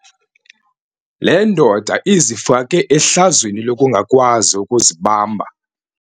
Le ndoda izifake ehlazweni lokungakwazi ukuzibamba.